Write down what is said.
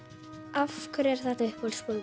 af hverju er þetta uppáhaldsbókin